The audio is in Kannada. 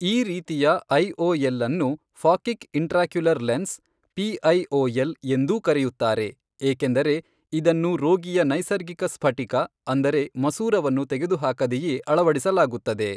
ಈ ರೀತಿಯ ಐಓಎಲ್ ಅನ್ನು ಫಾಕಿಕ್ ಇಂಟ್ರಾಕ್ಯುಲರ್ ಲೆನ್ಸ್ , ಪಿಐಓಎಲ್, ಎಂದೂ ಕರೆಯುತ್ತಾರೆ, ಏಕೆಂದರೆ ಇದನ್ನು ರೋಗಿಯ ನೈಸರ್ಗಿಕ ಸ್ಫಟಿಕ ಅಂದರೆ ಮಸೂರವನ್ನು ತೆಗೆದುಹಾಕದೆಯೇ ಅಳವಡಿಸಲಾಗುತ್ತದೆ.